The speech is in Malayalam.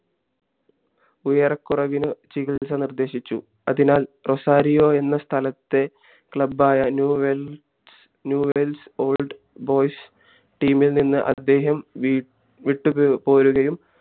ഉയരകുറവിന് ചികിത്സ നിർദ്ദേശിച്ചു അതിനാൽ റൊസാരിയോ എന്ന സ്ഥലത്തെ club ആയ New World Old Boys team ഇത് നിന്ന് അദ്ദേഹം വിട്ടുപോരുകയും